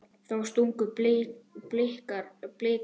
Þá stungu Blikar af.